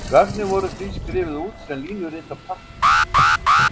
Gögnin voru því skrifuð út sem línurit á pappír.